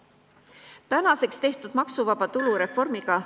Tänaseks tehtud maksuvaba tulu reformiga ...